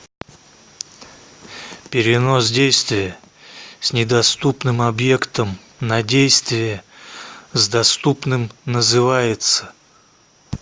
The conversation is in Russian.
перенос действия с недоступным объектом на действие с доступным называется